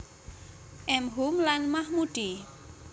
M Hum lan Mahmudi